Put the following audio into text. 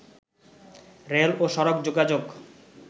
rail ও সড়ক যোগাযোগ